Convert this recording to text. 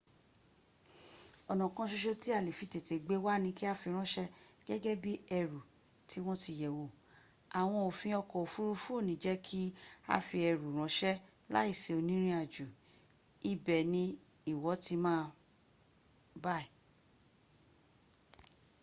ona kan soso ti a le fi tete gbe wa ni ki a firanse gege bii eru ti won ti yewo awon ofin oko ofurufu o ni je ka fi eru ranse lai si onirinajo ibe ni iwo ti ma buy